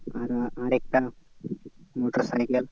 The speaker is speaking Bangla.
আর আর আর একটা মোটর সাইকেল